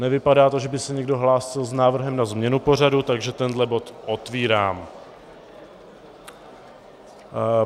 Nevypadá to, že by se někdo hlásil s návrhem na změnu pořadu, takže tenhle bod otvírám.